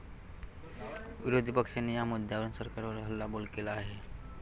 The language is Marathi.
विरोधी पक्षाने या मुद्द्यावरुन सरकारवर हल्लाबोल केला आहे.